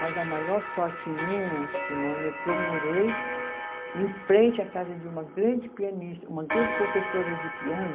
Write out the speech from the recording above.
Mas a maior sorte minha, Simone, é que eu morei em frente à casa de uma grande pianista, uma grande professora de piano,